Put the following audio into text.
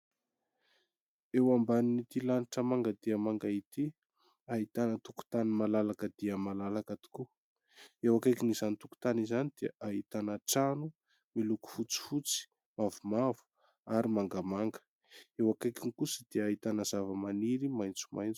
Eo ambanin'ity lanitra manga dia manga ity; ahitana tokontany malalaka dia malalaka tokoa; eo akaikin' izany tokontany izany dia ahitana trano miloko fotsifotsy, mavomavo ary mangamanga; eo akaikiny kosa dia ahitana zava-maniry maitsomaitso.